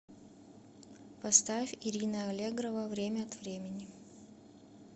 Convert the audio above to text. поставь ирина аллегрова время от времени